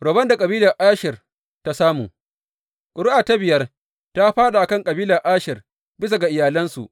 Rabon da kabilar Asher ta samu Ƙuri’a ta biyar ta fāɗa a kan kabilar Asher, bisa ga iyalansu.